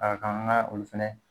A ga kan an ka olu fɛnɛ